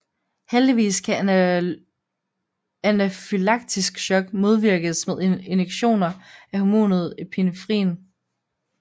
Heldigvis kan anafylaktisk shock modvirkes med injektioner af hormonet epinefrin